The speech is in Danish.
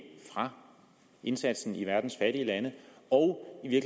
fra indsatsen i verdens fattige lande og i